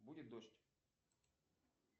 будет дождь